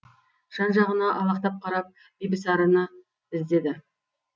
жан жағына алақтап қарап бибісараны іздеді